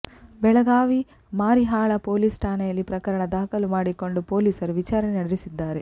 Belagavi Marihal police ಠಾಣೆಯಲ್ಲಿ ಪ್ರಕರಣ ದಾಖಲು ಮಾಡಿಕೊಂಡ ಪೋಲಿಸರು ವಿಚಾರಣೆ ನಡೆಸಿದ್ದಾರೆ